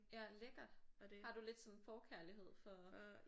Ja lækkert. Har du lidt sådan en forkærlighed for?